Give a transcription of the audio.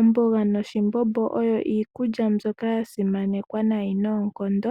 Omboga noshimbombo oyo iikulya mbyoka ya simanekwa noonkondo